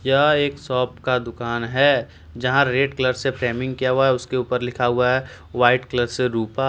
यह एक शॉप का दुकान है जहा रेड कलर से फ्रेमिंग किया हुआ है उसके ऊपर लिखा हुआ है व्हाइट कलर से रूपा --